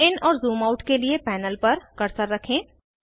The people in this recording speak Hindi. ज़ूम इन और ज़ूम आउट के लिए पैनल पर कर्सर रखें